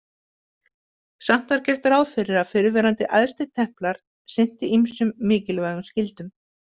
Samt var gert ráð fyrir að fyrrverandi æðstitemplar sinnti ýmsum mikilvægum skyldum.